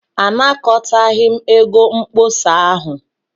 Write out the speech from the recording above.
Anakọtaghị m ego mkpọsa ahụ.